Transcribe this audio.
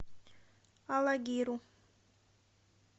алагиру